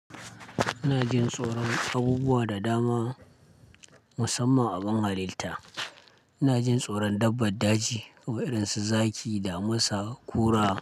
Ina jin tsoron abubuwa da dama musamman a ɓin halitta. Ina jin tsoron dabban daji irinsu zaki da musa kura.